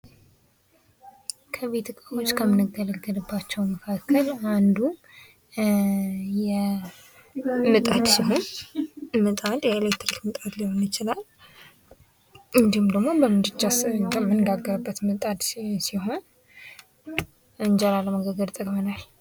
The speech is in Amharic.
ከቤት እቃወች ከምንገለገልባቸው መካከል ኣንዱ ምጣድ ሲሆን፤ ምጣድ የኤለክትሪክ ምጣድ ሊሆን ይችላል እንዲሁም ደግሞ በምድጃ የምንጋግርበት ምጣድ ሲሆን አንጀራ ለመጋገር ይጠቅመናል።